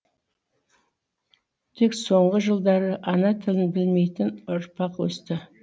тек соңғы жылдары ана тілін білмейтін ұрпақ өсті